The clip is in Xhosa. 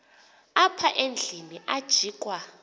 apha endlwini ajikwa